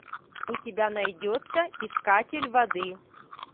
у тебя найдется искатель воды